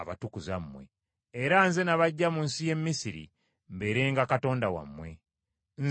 era Nze nabaggya mu nsi y’e Misiri mbeerenga Katonda wammwe. Nze Mukama Katonda.”